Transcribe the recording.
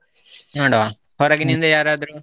ನೋಡುವ ಹೊರಗಿನಿಂದ ಯಾರದ್ರೂ.